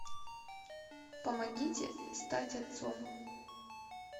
помогите стать отцом